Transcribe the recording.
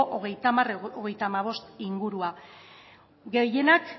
hogeita hamarhogeita hamabost ingurua gehienak